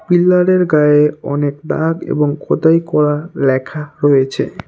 পিল্লারের গায়ে অনেক দাগ এবং খোদাই করা ল্যাখা রয়েছে।